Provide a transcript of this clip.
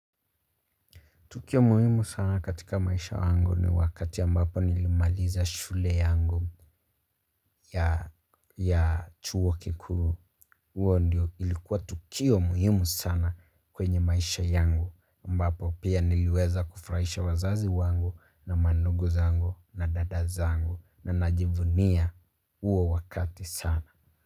Tukio muhimu sana katika maisha wangu ni wakati ambapo nilimaliza shule yangu ya chuo kikuu. Uo ndio ilikuwa tukio muhimu sana kwenye maisha yangu ambapo pia niliweza kufraisha wazazi wangu na mandungu zangu na dada zangu na najivunia uo wakati sana.